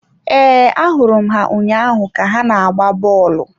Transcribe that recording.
Ee, ahụrụ m ha ụnyaahụ ka ha na-agba bọọlụ.